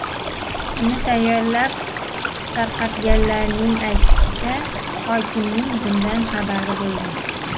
Uni tayyorlab tarqatganlarning aytishicha, hokimning bundan xabari bo‘lgan.